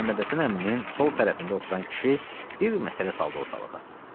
Məhəmməd Həsən əminin sol tərəfində oturan kişi bir məsələ saldı ortalığa.